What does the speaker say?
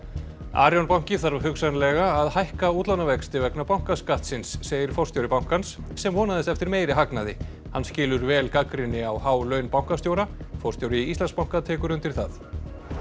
Arion banki þarf hugsanlega að hækka útlánavexti vegna bankaskattsins segir forstjóri bankans sem vonaðist eftir meiri hagnaði hann skilur vel gagnrýni á há laun bankastjóra forstjóri Íslandsbanka tekur undir það